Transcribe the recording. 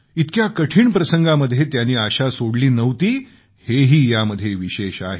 इतक्या कठीण प्रसंगामध्ये त्यांनी आशा सोडली नव्हती हेही यामध्ये विशेष आहे